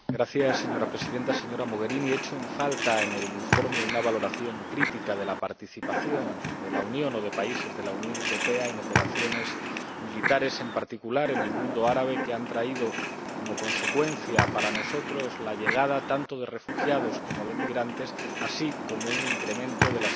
Señora Presidenta, señora Mogherini, echo en falta en el informe una valoración crítica de la participación de la Unión o de países de la Unión Europea en operaciones militares, en particular en el mundo árabe, que han traído como consecuencia para nosotros la llegada tanto de refugiados como de migrantes, así como un incremento de la